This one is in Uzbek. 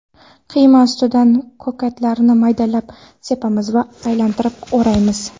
Qiyma ustidan ko‘katlarni maydalab sepamiz va aylantirib o‘raymiz.